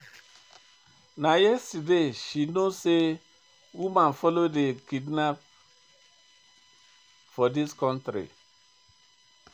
Na yesterday she know sey women folo dey do kidnapping for dis country.